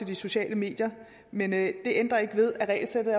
de sociale medier men det ændrer ikke ved at regelsættet